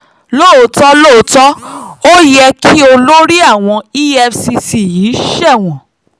lóòótọ́ lóòótọ́ ó yẹ kí olórí àwọn efcc yìí sẹ́wọ̀n